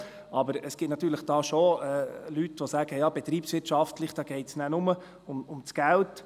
Aber es gibt da natürlich schon Leute, die sagen: Betriebswirtschaft, da geht es dann nur um das Geld.